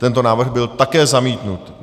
Tento návrh byl také zamítnut.